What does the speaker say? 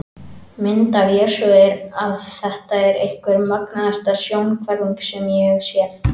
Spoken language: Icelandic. Mynd af Jesú er af Þetta er einhver magnaðasta sjónhverfing sem ég hef séð.